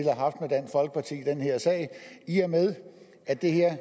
den her sag i og med at det her